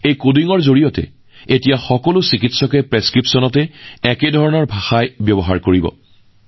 এই কডিঙৰ সহায়ত এতিয়া সকলো চিকিৎসকে নিজৰ প্ৰেছক্ৰিপচন বা স্লিপত একে ভাষা লিখিব